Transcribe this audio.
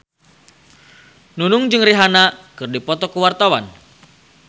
Nunung jeung Rihanna keur dipoto ku wartawan